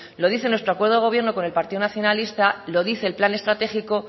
lo dice nuestro acuerdo de gobierno con el partido nacionalista lo dice el plan estratégico